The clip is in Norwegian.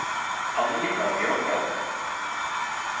Anita Bjørndal